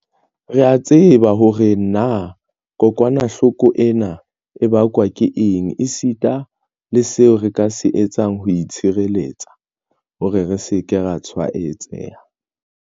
Re a tseba hore na kokwanahloko ena e bakwa ke eng, esita le seo re ka se etsang ho itshireletsa hore re se ke ra tshwaetseha.